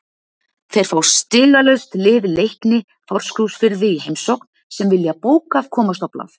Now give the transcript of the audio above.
Þeir fá stigalaust lið Leikni Fáskrúðsfirði í heimsókn sem vilja bókað komast á blað.